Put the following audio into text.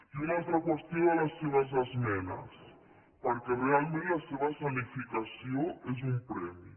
i una altra qüestió de les seves esmenes perquè realment la seva escenificació és un premi